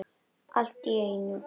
En allt í einu.